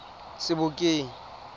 sebokeng